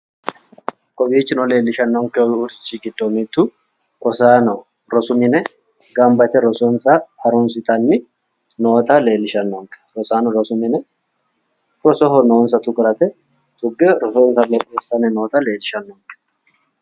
kowiichino leellishannonkerichi giddo mittu rosaano rosu mine gamba yite rososna harunsitanni noota leellishannonke rosaano rososho noonsa tukurate tugge rososnsa leellishshanni noota leellishannonke